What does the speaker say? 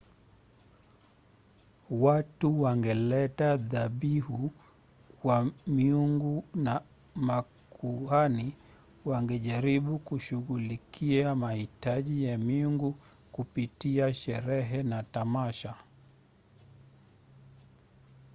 watu wangeleta dhabihu kwa miungu na makuhani wangejaribu kushughulikia mahitaji ya miungu kupitia sherehe na tamasha